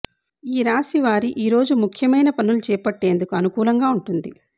ఈ రాశి వారి ఈరోజు ముఖ్యమైన పనులు చేపట్టేందుకు అనుకూలంగా ఉంటుంది